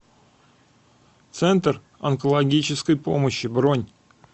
центр онкологической помощи бронь